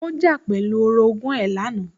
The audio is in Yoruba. Ó jà pẹ̀lú orogún ẹ̀ lánàá